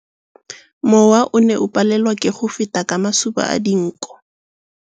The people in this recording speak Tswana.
Mowa o ne o palelwa ke go feta ka masoba a dinko.